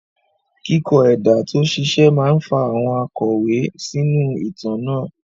Kíkọ ẹ̀dà tó ṣiṣẹ́ máa ń fa àwọn òkàwé sínú ìtàn náà.